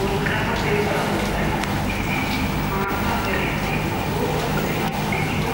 Wolqqaama dembba bollan issi maata meraynne bootta meray de'iyo